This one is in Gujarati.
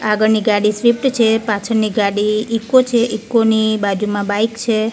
આગળની ગાડી સ્વિફ્ટ છે પાછળની ગાડી ઈકો છે ઈકો ની બાજુમાં બાઇક છે.